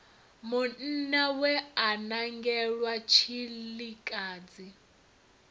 munna we a nangelwa tshilikadzi